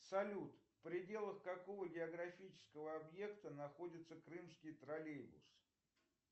салют в пределах какого географического объекта находится крымский троллейбус